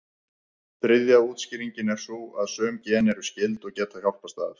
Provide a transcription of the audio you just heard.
Þriðja útskýringin er sú að sum gen eru skyld, og geta hjálpast að.